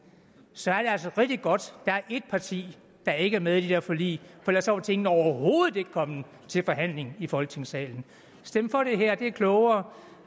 så er det altså rigtig godt der er et parti der ikke er med i de der forlig for ellers var tingene overhovedet ikke kommet til forhandling i folketingssalen stem for det her det er klogere